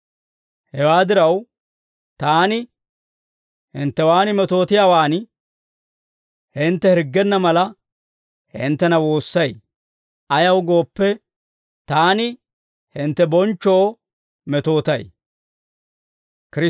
Hewaa diraw, taani hinttewaan metootiyaawan hintte hirggenna mala, hinttena woossay; ayaw gooppe, taani hintte bonchchoo metootay.